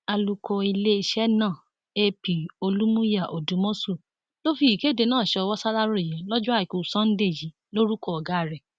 alūkó iléeṣẹ náà ap olùmùyà òdùmọṣù ló fi ìkéde náà sọwọ ṣaláròyé lọjọ àìkú sanńdé yìí lórúkọ ọgá rẹ